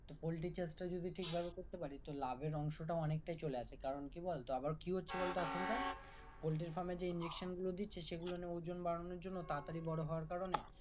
poultry চাষটা যদি ঠিক ভাবে করতে পারি তো লাভের অংশটাও অনেকটা চলে আসে কারণ কি বলতো আবার কি হচ্ছে বলতো এখন কার পোল্ট্রি farm এ যে injection গুলো দিচ্ছে সেগুলো ওজন বাড়ানোর জন্য তাড়াতাড়ি বড়ো হওয়ার কারণে